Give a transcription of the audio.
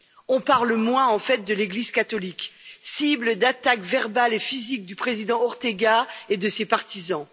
On parle moins, en fait, de l'église catholique, cible d'attaques verbales et physiques du président Ortega et de ses partisans.